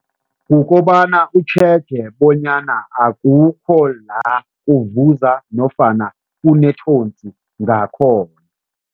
Kukobana utjhege bonyana akukho la kuvuza nofana kunethosi ngakhona.